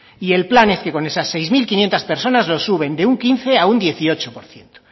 y el plan es que con esas seis mil quinientos personas lo suben de un quince por ciento a un dieciocho por ciento